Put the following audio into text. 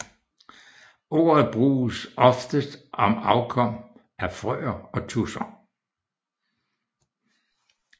Ordet bruges oftest om afkom af frøer og tudser